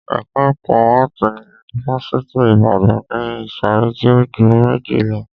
Ẹ̀ka ẹkọ áàtì ní ifáfitì Ibadan ni ìsọ̀rí tí o ju méje lọ.